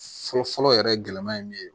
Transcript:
Fɔlɔ fɔlɔ yɛrɛ gɛlɛma ye min ye